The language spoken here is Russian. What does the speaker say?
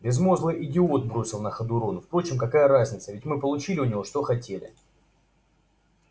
безмозглый идиот бросил на ходу рон впрочем какая разница мы ведь получили у него что хотели